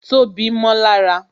Tobi mó lára